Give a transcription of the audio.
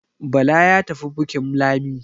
Bala ya tafi bukin Lami